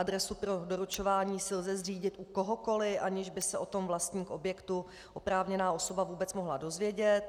Adresu pro doručování si lze zřídit u kohokoli, aniž by se o tom vlastník objektu, oprávněná osoba, vůbec mohl dozvědět.